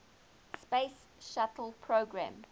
space shuttle program